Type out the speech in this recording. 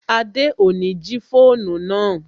Adé ni ó jí fóònù náà